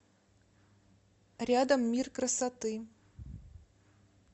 рядом мир красоты